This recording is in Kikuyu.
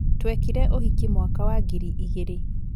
Twekire ũhiki mwaka wa ngiri igirĩ